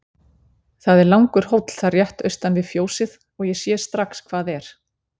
Það er langur hóll þar rétt austan við fjósið og ég sé strax hvað er.